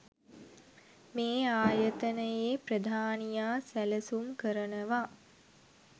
මේ ආයතනයේ ප්‍රධානියා සැලසුම් කරනවා